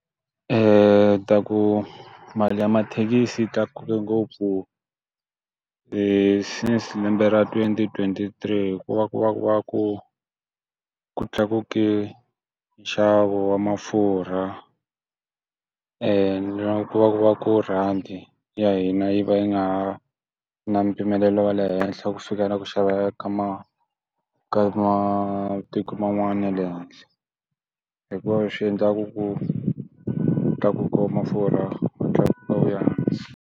ta ku mali ya mathekisi tlakuke ngopfu since lembe ra twenty twenty-three hikuva ku va ku va ku ku tlakuke nxavo wa mafurha e na ku va ku va ku rhandi ya hina yi va yi nga ha na mpimelelo wa le henhla ku fika na ku xava ka ma ka matiko man'wana ya le handle hikuva leswi endlaku ku ta ku koma furha Ku tlakuka Ku ya hansi.